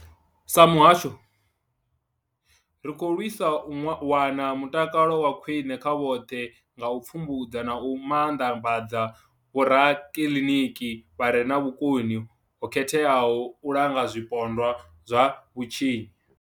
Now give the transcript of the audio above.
Sa muhasho, ri khou lwisa u wana mutakalo wa khwine kha vhoṱhe nga u pfumbudza na u maanḓafhadza vhorakiḽiniki vha re na vhukoni ho khetheaho u langa zwipondwa zwa vhutshinyi.